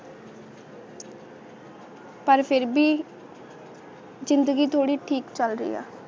ਪਰ ਫਿਰ ਵੀ ਜ਼ਿੰਦਗੀ ਥੋੜੀ ਠੀਕ ਕੈਲ ਰਹੀ ਆ